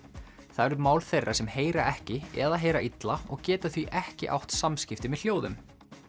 það eru mál þeirra sem heyra ekki eða heyra illa og geta því ekki átt samskipti með hljóðum